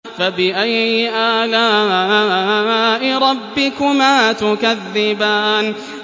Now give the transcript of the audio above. فَبِأَيِّ آلَاءِ رَبِّكُمَا تُكَذِّبَانِ